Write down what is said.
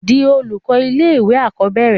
di olùkọ́ ilé ìwé àkọ́bẹ̀rẹ̀